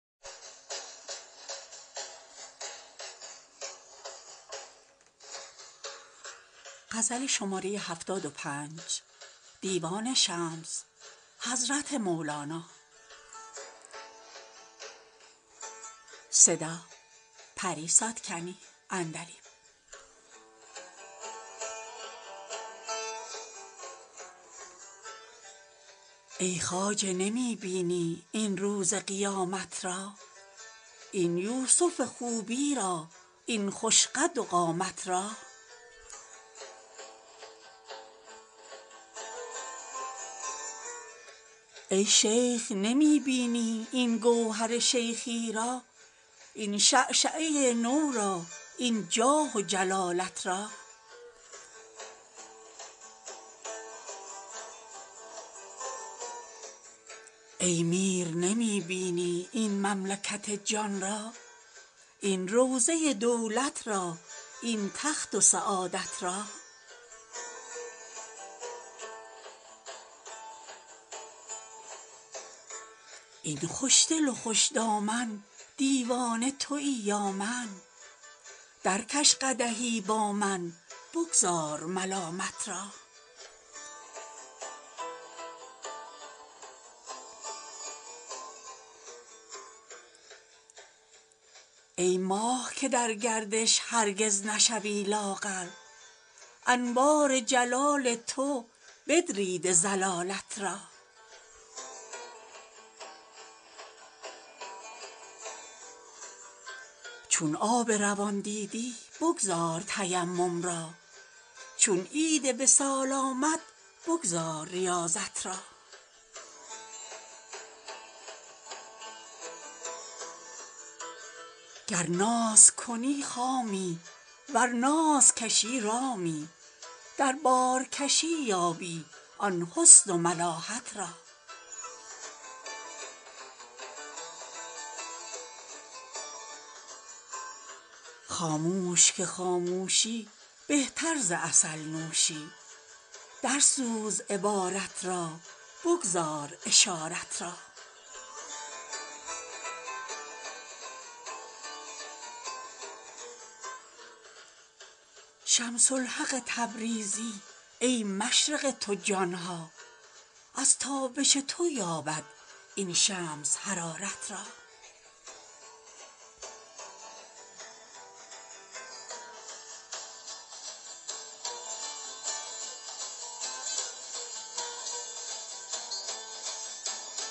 ای خواجه نمی بینی این روز قیامت را این یوسف خوبی را این خوش قد و قامت را ای شیخ نمی بینی این گوهر شیخی را این شعشعه نو را این جاه و جلالت را ای میر نمی بینی این مملکت جان را این روضه دولت را این تخت و سعادت را ای خوشدل و خوش دامن دیوانه توی یا من درکش قدحی با من بگذار ملامت را ای ماه که در گردش هرگز نشوی لاغر انوار جلال تو بدریده ضلالت را چون آب روان دیدی بگذار تیمم را چون عید وصال آمد بگذار ریاضت را گر ناز کنی خامی ور ناز کشی رامی در بارکشی یابی آن حسن و ملاحت را خاموش که خاموشی بهتر ز عسل نوشی درسوز عبارت را بگذار اشارت را شمس الحق تبریزی ای مشرق تو جان ها از تابش تو یابد این شمس حرارت را